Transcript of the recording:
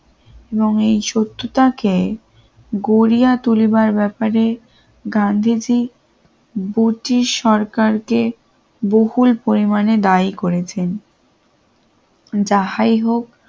এবং এই শত্রু থাকে গড়িয়া তুলিবার ব্যাপারে গান্ধীজি সরকারকে বকুল পরিমাণে দায়ী করেছেন যাহাই হোক